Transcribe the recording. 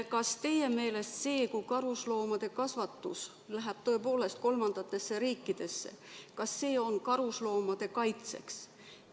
Kas teie meelest see, kui karusloomade kasvatus läheb tõepoolest kolmandatesse riikidesse, on karusloomade kaitse huvides?